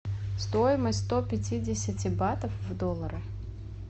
стоимость сто пятидесяти батов в доллары